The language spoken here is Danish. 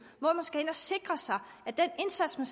hvor man skal ind at sikre sig at den indsats der